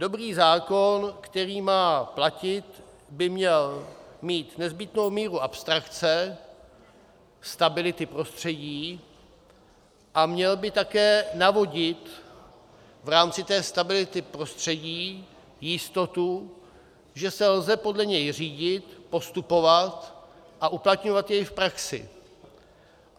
Dobrý zákon, který má platit, by měl mít nezbytnou míru abstrakce, stability prostředí a měl by také navodit v rámci té stability prostředí jistotu, že se lze podle něj řídit, postupovat a uplatňovat jej v praxi.